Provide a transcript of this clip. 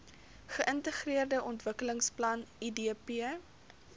geintegreerde ontwikkelingsplan idp